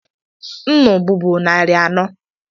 Nnu bubu narị anọ.